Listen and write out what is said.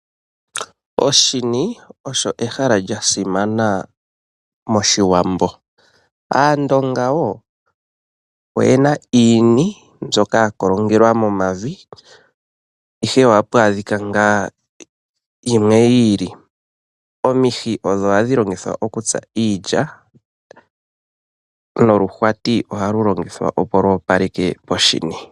Oshini olyo ehala lyasimana moshiwambo. Aandonga oyena iini mbyoka yakolongelwa momavi, ihe ohapu adhika ngaa yimwe yiili, ha kutiwa oshini shoshimbwela shono inashi kolongelwa mevi. Omihi odho hadhi longithwa okutsa noluhwati ohalu longithwa lwoopaleke poshini.